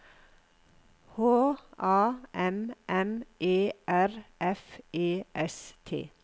H A M M E R F E S T